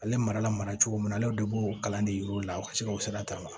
Ale mara la mara cogo min na ale de b'o kalan de yir'u la ka se ka o sira ta